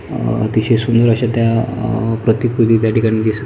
अ अतिशय सुंदर अशा त्या अ प्रतिकृती त्याठिकाणी दिसत--